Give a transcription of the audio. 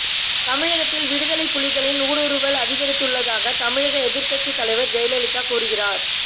தமிழகத்தில் விடுதலைப் புலிகளின் ஊடுருவல் அதிகரித்துள்ளதாக தமிழக எதிர்கட்சி தலைவர் ஜெயலலிதா கூறுகிறார்